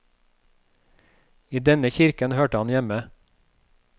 I denne kirken hørte han hjemme.